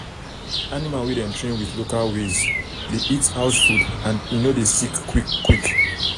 animal wey dem train with local ways dey eat house food and en no dey sick quick quick